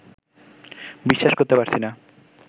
বিশ্বাস করতে পারছি না